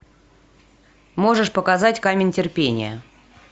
можешь показать камень терпения